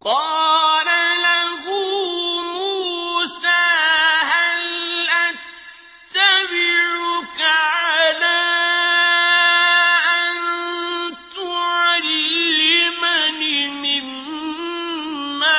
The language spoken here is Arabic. قَالَ لَهُ مُوسَىٰ هَلْ أَتَّبِعُكَ عَلَىٰ أَن تُعَلِّمَنِ مِمَّا